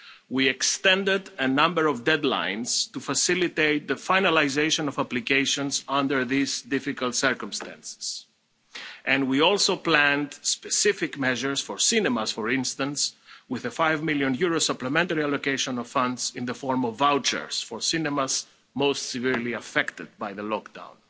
We extended a number of deadlines to facilitate the finalisation of obligations under these difficult circumstances and we also planned specific measures for cinemas, for instance, with a EUR 5 million supplementary allocation of funds in the form of vouchers for cinemas most severely affected by the lockdown.